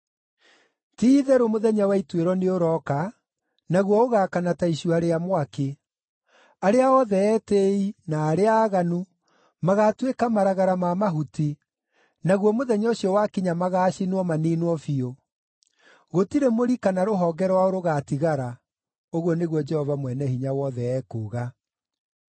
“Ti-itherũ mũthenya wa ituĩro nĩũrooka, naguo ũgaakana ta icua rĩa mwaki. Arĩa othe etĩĩi, na arĩa aaganu, magaatuĩka maragara ma mahuti, naguo mũthenya ũcio wakinya magaacinwo, maniinwo biũ. Gũtirĩ mũri kana rũhonge rwao rũgaatigara,” ũguo nĩguo Jehova Mwene-Hinya-Wothe ekuuga.